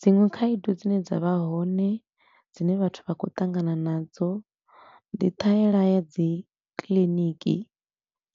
Dziṅwe khaedu dzine dza vha hone dzine vhathu vha khou ṱangana nadzo ndi ṱhaela ya dzi kiliniki